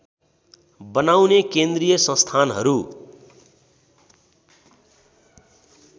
बनाउने केन्द्रीय संस्थानहरू